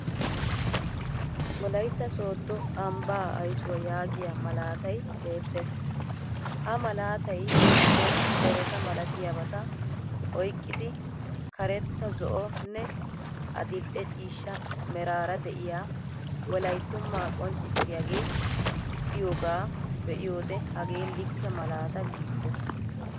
Wolaytta sooddo ambbaa ayssuwaa yaagiya malaatay beettes. Ha malaatay giddon dereta malatiyabata oyqqidi qaretta zo'onne adil'e cishcha meraara de'iyaa wolayttumaa qonccisissiyagee diyoogaa be'iyode hagee likke malaata giisses.